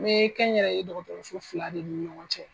N bɛ kɛnyɛrɛye dɔgɔtɔrɔso fila de ni ɲɔgɔn cɛ.